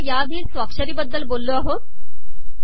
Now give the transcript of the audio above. आपण अगोदरच स्वाक्षरीबद्दल बोललो आहोत